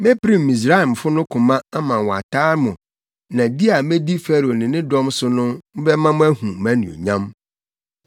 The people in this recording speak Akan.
Mepirim Misraimfo no koma ama wɔataa mo na di a medi Farao ne ne dɔm so no bɛma moahu mʼanuonyam.